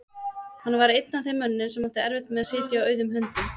Hann var einn af þeim mönnum sem áttu erfitt með að sitja auðum höndum.